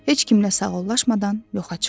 Heç kimlə sağollaşmadan yoxa çıxdı.